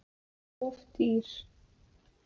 Of dýr